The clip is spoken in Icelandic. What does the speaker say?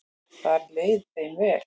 Þar leið þeim vel.